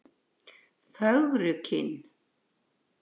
Fögrukinn